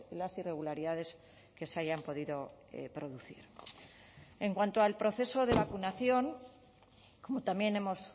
las irregularidades que se hayan podido producir en cuanto al proceso de vacunación como también hemos